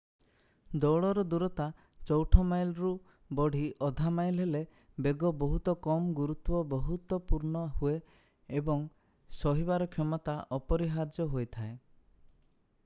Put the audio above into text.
ଦୌଡର ଦୂରତା ଚଉଠ ମାଇଲରୁ ବଢି ଅଧା ମାଇଲ୍ ହେଲେ ବେଗ ବହୁତ କମ୍ ଗୁରୁତ୍ଵ ବହୁତପୂର୍ଣ୍ଣ ହୁଏ ଏବଂ ସହିବାର କ୍ଷମତା ଅପରିହାର୍ଯ୍ୟ ହୋଇଯାଏ